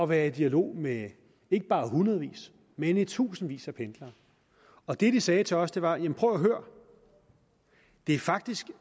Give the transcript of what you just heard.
være i dialog med ikke bare hundredvis men i tusindvis af pendlere og det de sagde til os var jamen prøv at høre det er faktisk